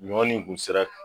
Ɲɔn nin kun sera